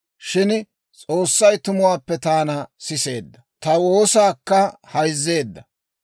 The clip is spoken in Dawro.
Shin S'oossay tumuwaappe taana siseedda; ta woosaakka hayzzeedda.